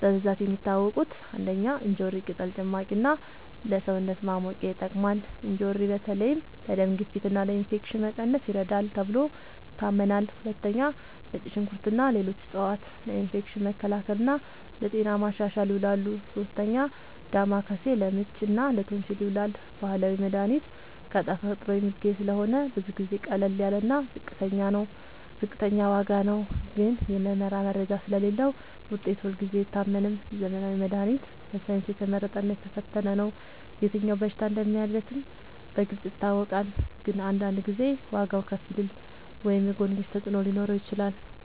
በብዛት የሚታወቁት፦ ፩. እንጆሪ ቅጠል ጭማቂ እና ለሰውነት ማሞቂያ ይጠቅማል። እንጆሪ በተለይ ለደም ግፊት እና ለኢንፌክሽን መቀነስ ይረዳል ተብሎ ይታመናል። ፪. ነጭ ሽንኩርት እና ሌሎች ዕፅዋት ለኢንፌክሽን መከላከል እና ለጤና ማሻሻል ይውላሉ። ፫. ዳማከሴ ለምች እና ለቶንሲል ይዉላል። ባህላዊ መድሃኒት ከተፈጥሮ የሚገኝ ስለሆነ ብዙ ጊዜ ቀላል እና ዝቅተኛ ዋጋ ነው። ግን የምርመራ መረጃ ስለሌለዉ ውጤቱ ሁልጊዜ አይታመንም። ዘመናዊ መድሃኒት በሳይንስ የተመረጠ እና የተፈተነ ነው። የትኛው በሽታ እንደሚያክም በግልጽ ይታወቃል። ግን አንዳንድ ጊዜ ዋጋዉ ከፍ ሊል ወይም የጎንዮሽ ተፅዕኖ ሊኖረው ይችላል።